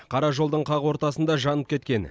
қара жолдың қақ ортасында жанып кеткен